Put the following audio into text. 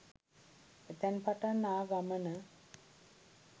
එතැන් පටන් ආ ගමන